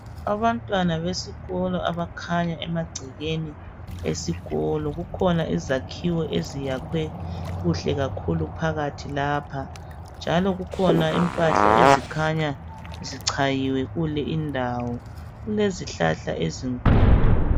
Abantwana besikolo abakhanya emagcekeni esikolo kukhona izakhiwo eziyakhwe kuhle kakhulu phakathi lapha njalo kukhona impahla ezikhanya zichayiwe kule indawo kule zihlahla ezinkulu.